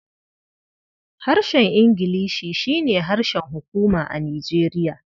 Harshen Ingilishi shi ne harshen hukuma a Nijeriya.